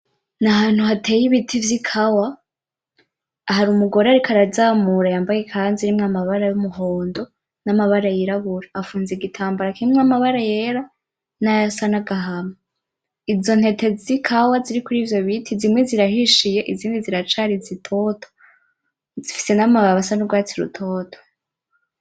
N'ahantu hateye ibiti vy'ikawa. Hari umugore ariko arazamura yambaye ikanzu irimwo amabara yumuhondo namabara yirabura. Afunze igitambara kirimwo amabara yera, nayasa nagahama. Izo ntete zikawa ziri kurivyo biti zimwe zirahishiye izindi ziracari zitoto. Zifise namababi asa n'urwatsi rutoto.